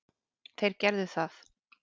Þeir gerðu það.